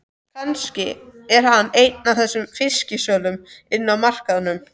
Kannski er hann einn af þessum fisksölum inni á markaðnum.